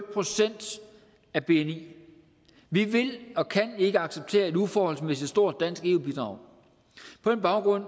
en procent af bni vi vi vil og kan ikke acceptere et uforholdsmæssigt stort dansk eu bidrag på den baggrund